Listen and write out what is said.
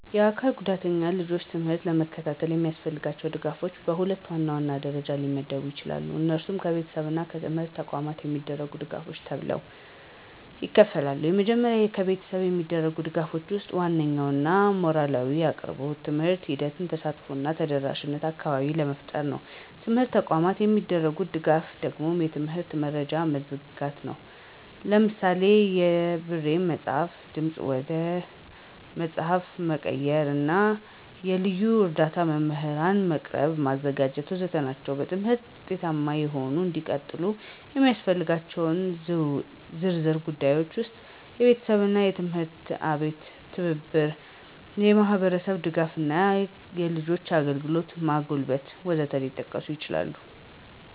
የአካል ጉዳተኛ ልጆች ትምህርት ለመከታተል የሚያስፈልጋቸው ድጋፎች በሁለት ዋናዋና ደረጃዎች ሊመደቡ ይችላሉ። እነሱም ከቤተሰብ እና ከትምህርት ተቋማት የሚደረጉ ድጋፎች ተብለው ይከፍላሉ። የመጀመሪያው ከቤተሰብ የሚደረጉ ድጋፎች ወስጥ ዋናኛው ሞራላዊ አቅርቦት፣ በትምህርት ሂደትም ተሳትፎ እና ተደረሻነት አካባቢዎች መፍጠር ነው። የትምርት ተቋማት የሚደርጉት ደጋፍ ደግሞ የትምህርት መረጃዎችን መዘጋጀት ነው። ለምሳሌ የብሬን መፅሐፍ፣ ድምፅ ወደ ፅሐፍ መቀየር እና የልዩ እርዳ መምህራን መቅጠር ማዘጋጀት.... ወዘተ ናቸው። በትምህርታችው ውጤታማ ሆነው እንዲቀጥሉ የሚስፈልገው ዝርዝር ጉዳዮች ውስጥ፦ የቤተሰብና የትምህርት አቤት ትብብር፣ የማህብርስብ ድጋፍ እና የልጆችን አግልግሎት ማጎልበት..... ወዘት ሊጠቀሱ ይችላሉ።